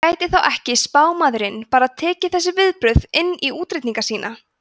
en gæti þá ekki spámaðurinn bara tekið þessi viðbrögð inn í útreikninga sína